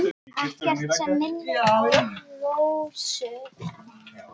Ekkert sem minnir á Rósu.